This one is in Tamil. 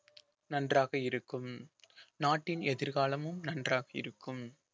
நன்றாக இருக்கும் நாட்டின் எதிர்காலமும் நன்றாக இருக்கும்